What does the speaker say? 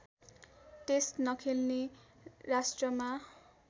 test नखेल्ने राष्ट्रमा